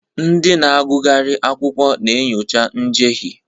Ndị na-agụgharị akwụkwọ na-enyocha njehie.